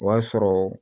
O y'a sɔrɔ